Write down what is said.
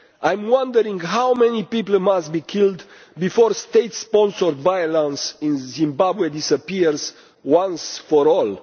I am wondering how many people must be killed before state sponsored violence in Zimbabwe disappears once and for all.